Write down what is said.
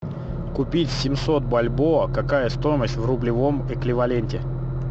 купить семьсот бальбоа какая стоимость в рублевом эквиваленте